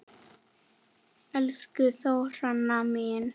Elsku Þóranna mín.